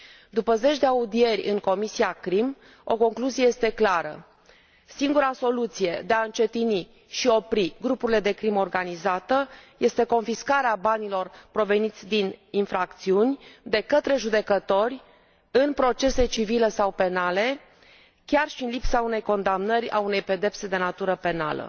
După zeci de audieri în Comisia CRIM, o concluzie este clară singura soluție de a încetini și opri grupurile de crimă organizată este confiscarea banilor proveniți din infracțiuni, de către judecători, în procese civile sau penale, chiar și în lipsa unei condamnări, a unei pedepse de natură penală.